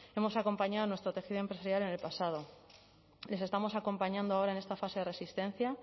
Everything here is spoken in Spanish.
hemos acompañado a nuestro tejido empresarial en el pasado les estamos acompañando ahora en esta fase de resistencia